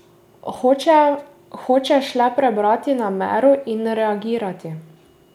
Hočeš le prebrati namero in reagirati.